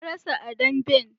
Na rasa a damben